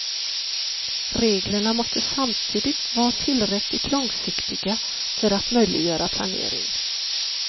Reglerna måste samtidigt var tillräckligt långsiktiga för att möjliggöra planering.